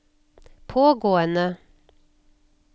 pågående